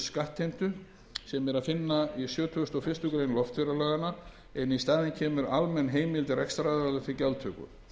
skattheimtu sem er að finna í sjötugasta og fyrstu grein loftferðalaganna en í staðin kemur almenn heimild rekstraraðila til gjaldtöku